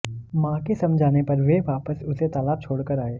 मां के समझाने पर वे वापस उसे तालाब छोड़कर आए